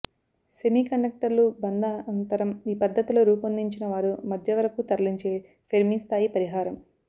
semi కండక్టర్లు బంధ అంతరం ఈ పద్ధతిలో రూపొందించినవారు మధ్యవరకూ తరలించే ఫెర్మీ స్థాయి పరిహారం